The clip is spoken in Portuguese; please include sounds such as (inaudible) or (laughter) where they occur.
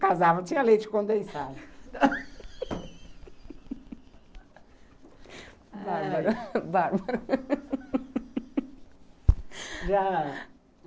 Casava, tinha leite condensado. (laughs)